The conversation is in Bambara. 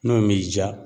N'o m'i diya